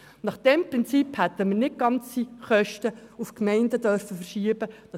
Nach diesem Prinzip hätten wir nicht ganze Kosten zu den Gemeinden verschieben dürfen.